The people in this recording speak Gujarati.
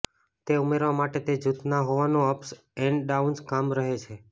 તે ઉમેરવા માટે તે જૂથના હોવાનું અપ્સ એન્ડ ડાઉન્સ કામ રહે છે